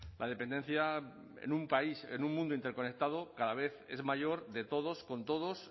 la dependencia en un país en un mundo interconectado cada vez es mayor de todos con todos